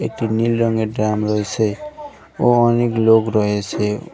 একটি নীল রঙের ড্রাম রয়েছে ও অনেক লোক রয়েছে ।